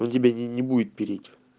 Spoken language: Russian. он тебе не не будет переть